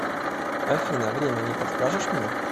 афина время не подскажешь мне